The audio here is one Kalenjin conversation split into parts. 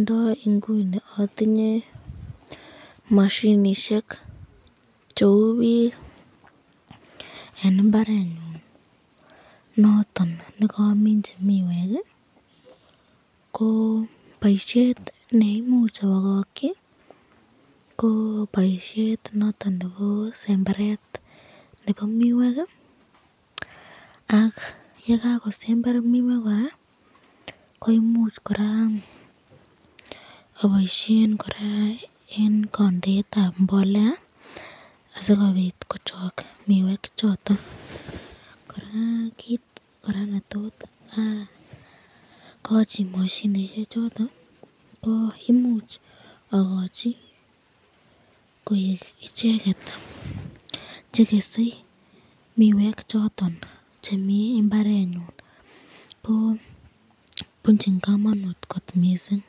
Ndo inguni atinye mashinishek cheu bik eng imbarenyun noton nekaminchi miwek, ko boisyet neimuchi abakakyi ko boisyet noton nebo semberet nebo miwek, ak yekakosember miwek koraa koimuch koraa aboisyen koraa eng kandeetab mbolea asikobit kochok miwek choton, koraa kit koraa netot akachi mashinishek choton, ko imuch akochi koek icheket chekese miwek choton chemi imbarenyun, ko bunchin kamanut kot mising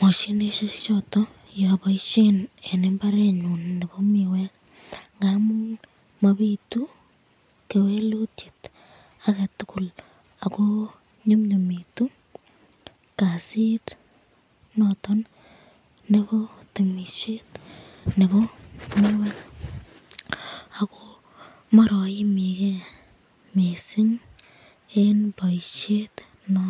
mashinishek choton yeabaisyen eng imbarenyun nebo miwek, ngamun mabitu kewelutyet aketukul ako nyumnyumitu kasit noton nebo temisyet nebo miwek, ako meraimiken mising eng boisyet noton.